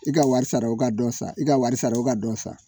I ka wari sara, i ka dɔ san, i ka wari sara, i ka dɔ san.